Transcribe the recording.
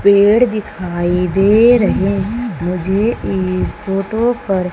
पेड़ दिखाई दे रहें मुझे एक फोटो पर--